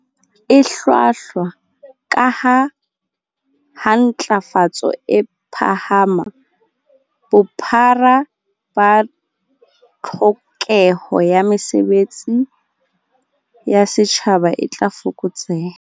E hlwahlwa, kaha ha ntlafatso e phahama, bophara ba tlhokeho ya mesebe tsi ya setjhaba e tla fokotseha.